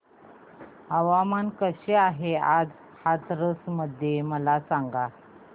हवामान कसे आहे आज हाथरस मध्ये मला सांगा